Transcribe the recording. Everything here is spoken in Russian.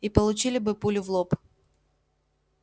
и получили бы пулю в лоб